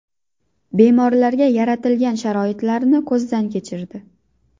Bemorlarga yaratilgan sharoitlarni ko‘zdan kechirdi.